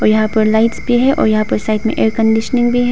यहां पर लाइट पर है और यहां पर साइड में एयर कंडीशनिंग भी है।